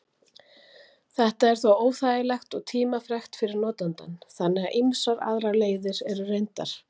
Þetta er þó óþægilegt og tímafrekt fyrir notandann, þannig að ýmsar aðrar leiðir eru reyndar.